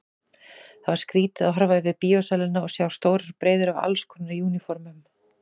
Það var skrýtið að horfa yfir bíósalina og sjá stórar breiður af allskonar úniformum.